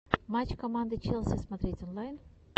матч команды челси смотреть онлайн